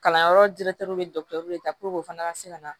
Kalanyɔrɔ bɛ de o fana ka se ka na